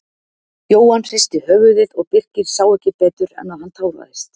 Jóhann hristi höfuðið og Birkir sá ekki betur en að hann táraðist.